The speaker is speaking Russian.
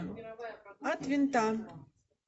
от винта